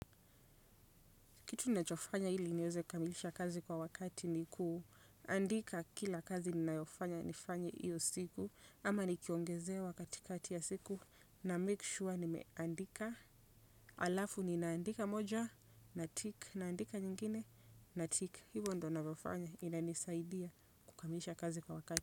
Kitu ninachofanya ili niweze kukamilisha kazi kwa wakati ni kuandika kila kazi ninayofanya nifanye hiyo siku. Ama nikiongezewa katikati ya siku namake sure nimeandika. Halafu ninaandika moja natick naandika nyingine natick. Hivyo ndiyo ninavyofanya inanisaidia kukamilisha kazi kwa wakati.